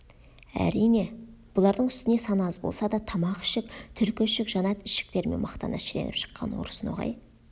әрине бұлардың үстіне саны аз болса да тамақ ішік түлкі ішік жанат ішіктерімен мақтана шіреніп шыққан орыс ноғай